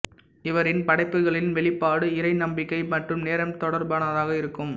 இவரின் படைப்புகளின் வெளிப்பாடு இறை நம்பிக்கை மற்றும் நேரம் தொடர்பானதாக இருக்கும்